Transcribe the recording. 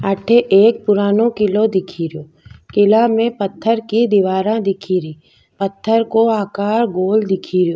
अठे एक पुरानो किलो दिखे रो किला में पत्थर की दीवारा दिखे री पत्थर को आकार गोल दिख रो।